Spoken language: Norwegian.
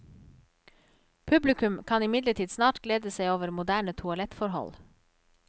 Publikum kan imidlertid snart glede seg over moderne toalettforhold.